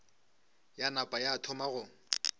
ya napa ya thoma go